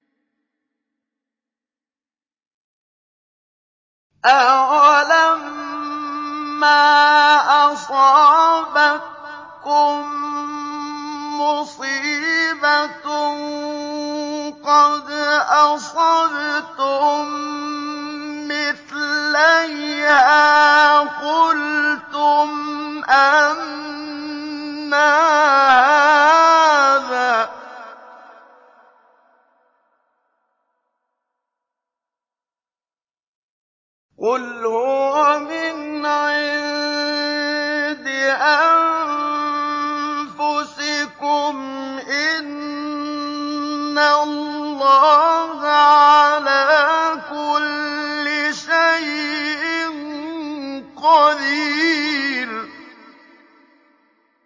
أَوَلَمَّا أَصَابَتْكُم مُّصِيبَةٌ قَدْ أَصَبْتُم مِّثْلَيْهَا قُلْتُمْ أَنَّىٰ هَٰذَا ۖ قُلْ هُوَ مِنْ عِندِ أَنفُسِكُمْ ۗ إِنَّ اللَّهَ عَلَىٰ كُلِّ شَيْءٍ قَدِيرٌ